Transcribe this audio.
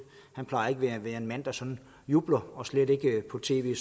han plejer ikke at være en mand der sådan jubler og slet ikke på tv